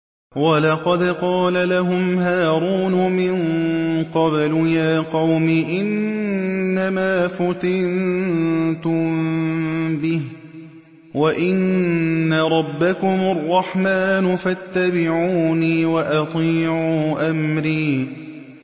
وَلَقَدْ قَالَ لَهُمْ هَارُونُ مِن قَبْلُ يَا قَوْمِ إِنَّمَا فُتِنتُم بِهِ ۖ وَإِنَّ رَبَّكُمُ الرَّحْمَٰنُ فَاتَّبِعُونِي وَأَطِيعُوا أَمْرِي